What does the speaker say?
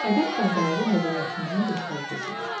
Ədəb qaydaları mədəniyyətimizin göstəricisidir.